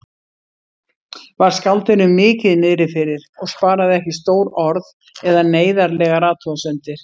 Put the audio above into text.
Var skáldinu mikið niðrifyrir og sparaði ekki stór orð eða neyðarlegar athugasemdir.